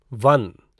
one